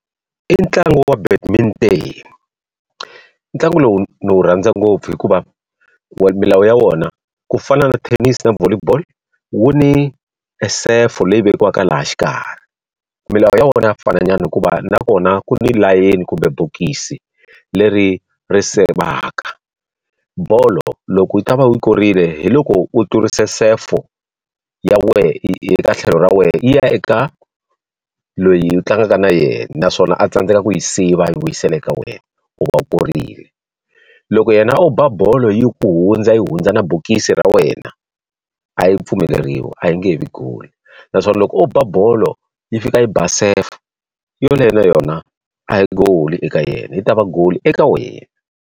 I ntlangu wa . Ntlangu lowu ni wu rhandza ngopfu hikuva milawu ya wona, ku fana na tennis na volley ball, wu ni esefo leyi vekiwaka laha xikarhi. Milawu ya wona ya fananyana hikuva na kona ku ni layeni kumbe bokisi leri ri sivaka. Bolo loko u ta va u yi korile hi loko u tlurise sefo ya wena eka tlhelo ra wena ya eka loyi u tlangaka na yena, naswona a tsandzeka ku yi siva a yi vuyisela ka wena, u va u korile. Loko yena o ba bolo yi ku hundza yi hundza na bokisi ra wena, a yi pfumeleriwi a yi nge he vi goal. Naswona loko o bolo yi fika yi ba sefo, yoleyo na yona a hi goal eka yena yi ta va goal eka wena.